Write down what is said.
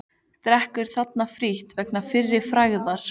Drekkur þarna frítt vegna fyrri frægðar.